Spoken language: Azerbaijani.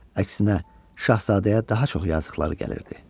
Əksinə, Şahzadəyə daha çox yazıqları gəlirdi.